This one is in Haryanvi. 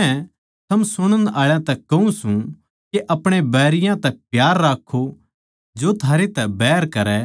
पर मै थमनै सुणन आळा तै कहूँ सूं के अपणे बैरियाँ तै प्यार राक्खो जो थारै तै बैर करै